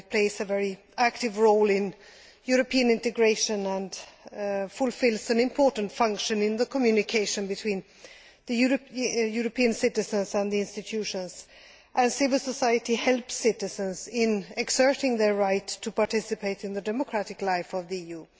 It plays a very active role in European integration and fulfils an important function in the communication between European citizens and the institutions. Civil society helps citizens in exerting their right to participate in the democratic life of the EU.